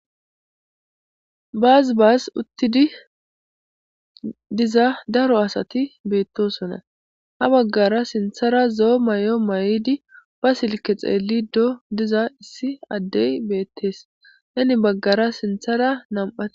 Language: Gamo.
Bas bas utidi diza dari asati betosona habagara sintara zo'o mayo mayidi ba silike xelido diza issi adde betes hinibagara sintara nam'ati.